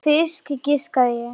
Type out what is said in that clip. Fisk, giskaði ég.